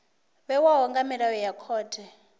vhewaho nga milayo ya khothe